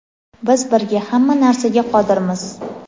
biz birga hamma narsaga qodirmiz!.